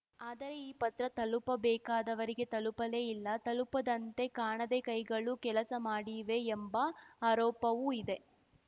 ಆದರೆ ಈ ಪತ್ರ ತಲುಪಬೇಕಾದವರಿಗೆ ತಲುಪಲೇ ಇಲ್ಲ ತಲುಪದಂತೆ ಕಾಣದೆ ಕೈಗಳು ಕೆಲಸ ಮಾಡಿವೆ ಎಂಬ ಆರೋಪವೂ ಇದೆ